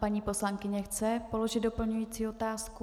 Paní poslankyně chce položit doplňující otázku.